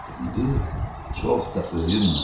İndi çox da öyünmə.